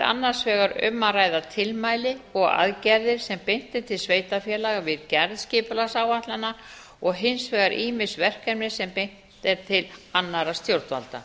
annars vegar um að ræða tilmæli og aðgerðir sem beint er til sveitarfélaga við gerð skipulagsáætlana og hins vegar ýmis verkefni sem beint er til annarra stjórnvalda